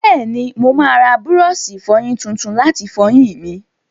Bẹ́ẹ̀ni, mo máa ra búrọ́ọ̀ṣì ìfọyín tuntun láti fọyín mi.